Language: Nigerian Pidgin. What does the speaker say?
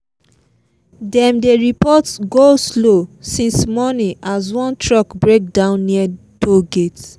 dem dey report go-slow since morning as one truck break down near toll gate